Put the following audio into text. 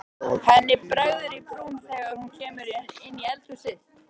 Henni bregður í brún þegar hún kemur inn í eldhúsið.